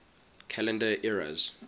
calendar eras